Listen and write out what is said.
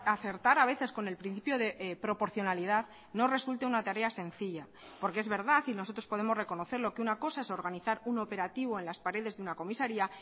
acertar a veces con el principio de proporcionalidad no resulte una tarea sencilla porque es verdad y nosotros podemos reconocerlo que una cosa es organizar un operativo en las paredes de una comisaría